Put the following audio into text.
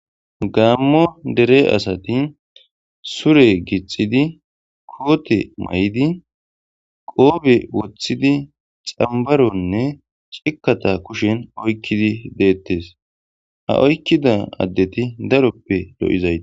gaammo dere asati sure gixidi koote may7idi qoobe woththidi xambaronne cikkata kushen oykkidi deettes ha oykkida addeti daroppe lo7izayi